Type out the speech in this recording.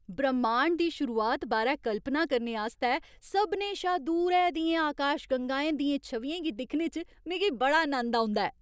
ब्रह्माण्ड दी शुरुआत बारै कल्पना करने आस्तै सभनें शा दूरै दियें आकाशगंगाएं दियें छवियें गी दिक्खने च मिगी बड़ा नंद औंदा ऐ।